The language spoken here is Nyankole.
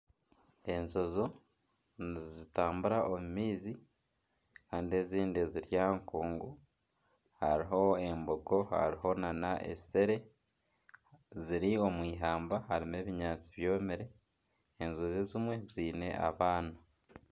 Enjojo nizitambura omu maizi Kandi ezindi ziri aha nkungu hariho embogo hariho nana esere ziri omu ihamba harimu ebinyatsi byomire enjojo ezimwe ziine abaana.